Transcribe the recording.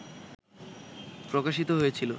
প্রকাশিত হয়েছিল